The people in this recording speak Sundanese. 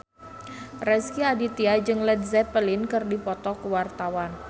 Rezky Aditya jeung Led Zeppelin keur dipoto ku wartawan